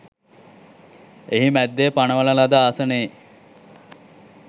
එහි මැද්දෙ පනවන ලද ආසනයෙ